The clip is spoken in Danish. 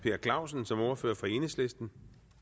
per clausen som ordfører for enhedslisten